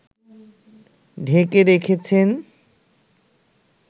ঢেকে রেখেছেন